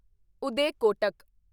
Uday Kotak